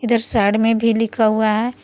इधर साइड में भी लिखा हुआ है।